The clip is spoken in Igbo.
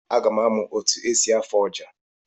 Aga m amụ otu esi afụ ọjà.